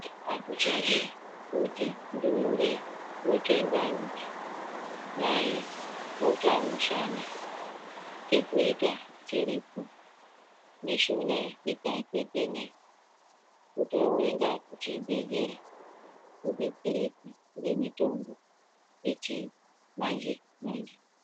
Azvichadi kutii ndumure yotsve ndani, mai otsve mushana chekuita chiripo. Mishuna ikatetena kutoenda kuchibhedhlera koodetsereka ngemitombo yechimanje manje